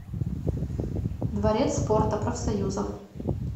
дворец спорта профсоюзов